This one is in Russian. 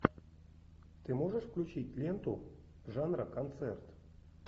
ты можешь включить ленту жанра концерт